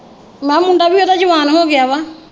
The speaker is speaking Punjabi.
ਮੈਂ ਕਿਹਾ ਮੁੰਡਾ ਵੀ ਉਹਦਾ ਜਵਾਨ ਹੋ ਗਿਆ ਵਾ।